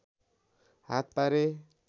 हात पारे